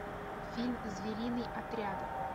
фильм звериный отряд